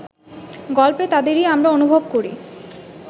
গল্পে তাদেরই আমরা অনুভব করি